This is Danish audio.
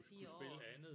Kunne kunne spille andet